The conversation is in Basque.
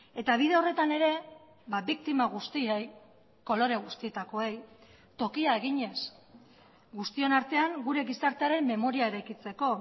eta bide horretan ere biktima guztiei kolore guztietakoei tokia eginez guztion artean gure gizartearen memoria eraikitzeko